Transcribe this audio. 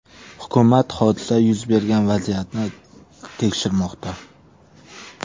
Hukumat hodisa yuz bergan vaziyatni tekshirmoqda.